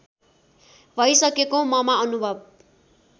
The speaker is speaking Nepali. भइसकेको ममा अनुभव